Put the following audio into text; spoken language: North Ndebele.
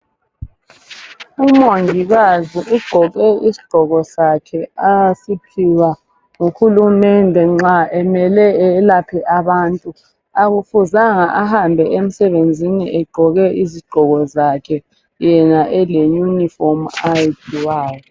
Umongikazi ugqoke isigqoko sakhe asiphiwa nguhulumende nxa emele eyelaphe abantu akufuzanga ahambe emsebenzini egqoke izigqoko zakhe yena eleyunifomu ayiphiwayo.